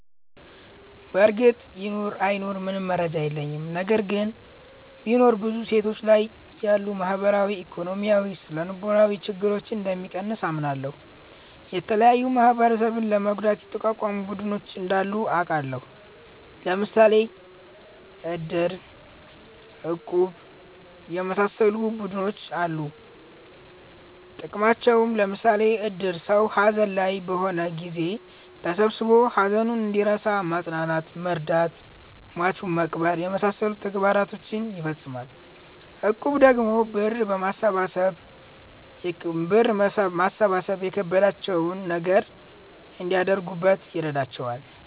በርግጥ ይኑር አይኑር ምንም መረጃ የለኝም። ነገር ግን ቢኖር ብዙ ሴቶች ላይ ያሉ ማህበራዊ፣ ኢኮኖሚያዊ፣ ስነልቦናዊ ችግረኞን እንደሚቀንስ አምናለሁ። የተለያዩ ማህበረሰብን ለመርዳት የተቋቋሙ ቡድኖች እንዳሉ አቃለሁ። ለምሣሌ እድር፣ እቁብ የመሣሠሉ ቡድኖች አሉ ጥቅማቸውም ለምሳሌ እድር ሠው ሀዘን ላይ በሆነ ጊዜ ተሠብስቦ ሀዘኑን እንዲረሣ ማፅናናት መርዳት ሟቹን መቅበር የመሣሠሉ ተግባሮችን ይፈፅማል። እቁብ ደግሞ ብር በማሠባሠብ የከበዳቸውን ነገር እንዲያደርጉበት ይረዳቸዋል።